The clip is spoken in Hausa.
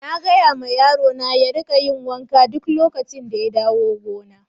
Na gaya ma yaro na ya rika yin wanka duk lokacin da ya dawo gona.